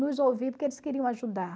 Nos ouvir porque eles queriam ajudar.